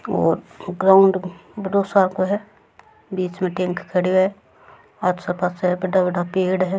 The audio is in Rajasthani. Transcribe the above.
और ग्राउंड बड़ो सार को है बीच में टेंक खड़यो है आस पास बड़ा बड़ा पेड़ है।